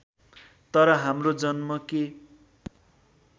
तर हाम्रो जन्म के